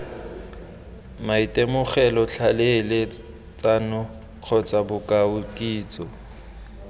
maitemogelo tlhaeletsano kgotsa bokao kitso